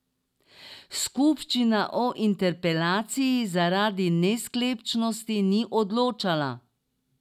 Skupščina o interpelaciji zaradi nesklepčnosti ni odločala.